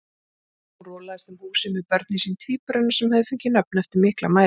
Hún rolaðist um húsið með börnin sín, tvíburana sem höfðu fengið nöfn eftir mikla mæðu.